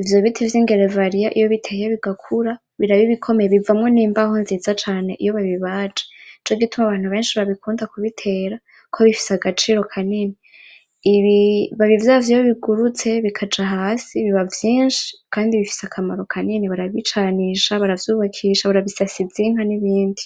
ivyo biti vy'igereveriya iyo biteye bigakura biraba ibikomeye bivamwo n'imbaho nziza cane iyo babibaje nico gituma abantu benshi babikunda kubitera kuko bifise agaciro kanini, ibibabi vyavyo iyo bigurutse bikaja hasi biba vyinshi kandi bifise akamaro kanini barabicanisha baravyubakisha barabisasiza inka n'ibindi.